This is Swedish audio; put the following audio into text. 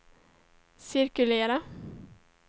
cirkulera